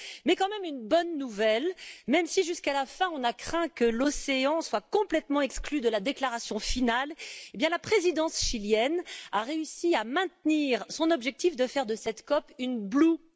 Mais quand même une bonne nouvelle même si, jusqu'à la fin, nous avons craint que l'océan soit complètement exclu de la déclaration finale, la présidence chilienne a réussi à maintenir son objectif de faire de cette COP une COP bleue.